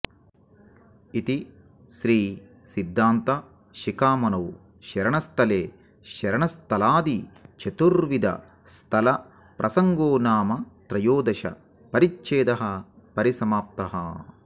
इति श्री सिद्धान्त शिखामणौ शरणस्थले शरणस्थलादि चतुर्विध स्थल प्रसङ्गोनाम त्रयोदश परिच्छेदः परिसमाप्तः